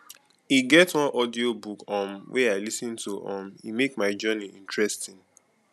e get one audiobook um wey i lis ten to um e make my journey interesting